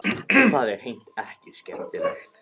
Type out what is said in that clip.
Og það er hreint ekki skemmtilegt.